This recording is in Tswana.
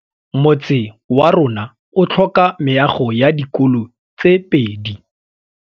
Motse warona o tlhoka meago ya dikolô tse pedi.